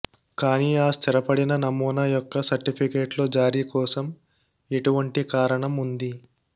కానీ ఆ స్థిరపడిన నమూనా యొక్క సర్టిఫికేట్లు జారీ కోసం ఎటువంటి కారణం ఉంది